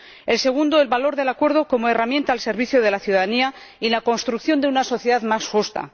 el segundo, el valor del acuerdo como herramienta al servicio de la ciudadanía y la construcción de una sociedad más justa